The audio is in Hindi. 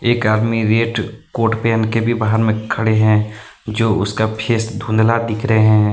एक आदमी रेट कोट पेंट के भी बाहर में खड़े हैं जो उसका फेस धुंधला दिख रहे हैं।